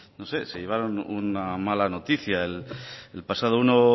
no sé se llevaron una mala noticia el pasado uno